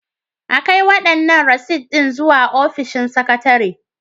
A kai waɗannan rasit ɗin zuwa ofishin sakatare.